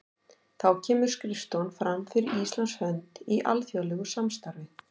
Þá kemur skrifstofan fram fyrir Íslands hönd í alþjóðlegu samstarfi.